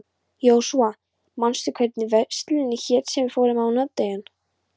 Jósúa, manstu hvað verslunin hét sem við fórum í á mánudaginn?